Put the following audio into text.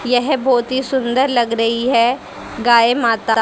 यह बहोत ही सुंदर लग रही है गाय माता।